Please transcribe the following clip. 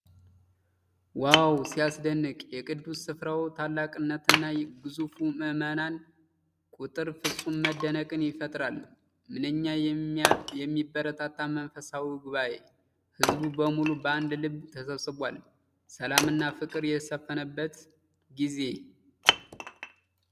ዋው! ሲያስደንቅ! የቅዱስ ስፍራው ታላቅነትና የግዙፉ ምዕመናን ቁጥር ፍጹም መደነቅን ይፈጥራል። ምንኛ የሚያበረታታ መንፈሳዊ ጉባኤ! ሕዝቡ በሙሉ በአንድ ልብ ተሰብስቧል። ሰላምና ፍቅር የሰፈነበት ጊዜ።